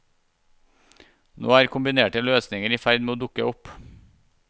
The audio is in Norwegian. Nå er kombinerte løsninger i ferd med å dukke opp.